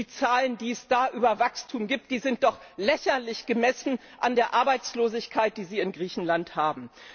Die Zahlen, die es da über Wachstum gibt, sind doch lächerlich, gemessen an der Arbeitslosigkeit, die Sie in Griechenland haben.